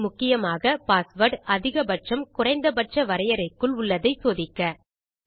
இது முக்கியமாக பாஸ்வேர்ட் அதிக பட்சம் குறைந்த பட்ச வரையரைக்குள் உள்ளதை சோதிக்க